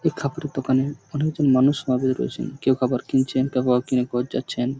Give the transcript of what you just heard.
এই কাপড়ের দোকানে অনেকজন মানুষ সমাবেশ রয়েছেন কেউ কাপড় কিনছেন কেউ কাপড় কিনে ঘর যাচ্ছেন।